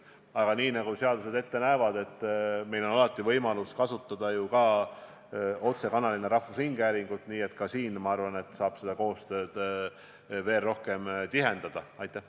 Aga nii nagu seadused ette näevad, on meil alati võimalus kasutada otsekanalina rahvusringhäälingut, nii et ka siin, ma arvan, saab koostööd veel tihedamaks muuta.